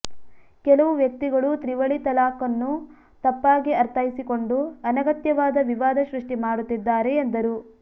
ಕೆಲವು ವ್ಯಕ್ತಿಗಳು ತ್ರಿವಳಿ ತಲಾಖ್ನ್ನು ತಪ್ಪಾಗಿ ಅರ್ಥೈಸಿಕೊಂಡು ಅನಗತ್ಯವಾದ ವಿವಾದ ಸೃಷ್ಟಿ ಮಾಡುತ್ತಿದ್ದಾರೆ ಎಂದರು